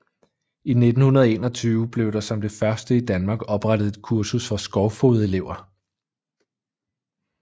I 1921 blev der som det første i Danmark oprettet et kursus for skovfogedelever